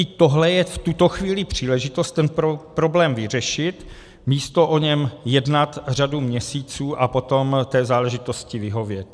I tohle je v tuto chvíli příležitost ten problém vyřešit, místo o něm jednat řadu měsíců a potom té záležitosti vyhovět.